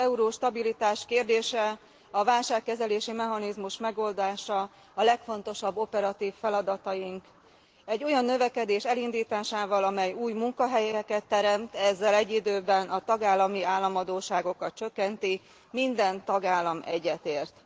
Az euróstabilitás kérdése, a válságkezelési mechanizmus megoldása a legfontosabb operatív feladataink egy olyan növekedés elindításával, amely új munkahelyeket teremt, ezzel egy időben a tagállami államadósságokat csökkenti, minden tagállam egyetért.